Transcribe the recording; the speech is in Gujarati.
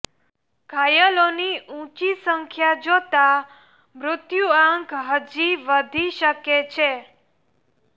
ઘાયલોની ઉંચી સંખ્યા જોતાં મૃત્યુઆંક હજી વધી શકે છે